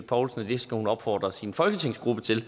poulsen at det skal hun opfordre sin folketingsgruppe til